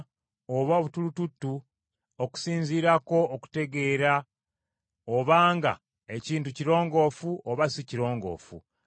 okusinziirako okutegeera obanga ekintu kirongoofu oba si kirongoofu. Ago ge mateeka ku bigenge.